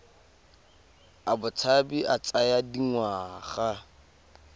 a botshabi a tsaya dingwaga